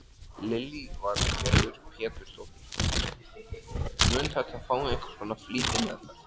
Lillý Valgerður Pétursdóttir: Mun þetta fá einhvers konar flýtimeðferð?